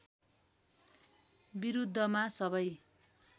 विरूद्धमा सबै